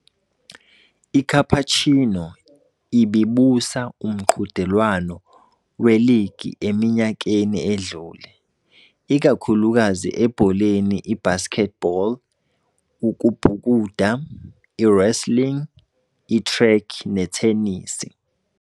ICapuchino ibibusa umqhudelwano weligi eminyakeni edlule, ikakhulukazi ebholeni, ibasketball, ukubhukuda, i-wrestling, i-track, nethenisi.